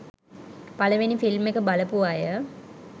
පළවෙනි ‍ෆිල්ම් එක බලපු අය